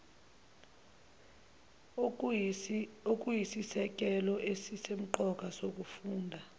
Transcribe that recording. okuyisisekelo esisemqoka sokufunda